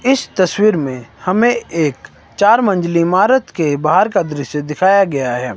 इस तस्वीर में हमें एक चार मंजिली ईमारत के बाहर का दृश्य दिखाया गया है।